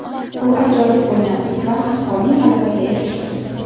U ajoyib o‘ynadi va haqqoniy g‘alabaga erishdi.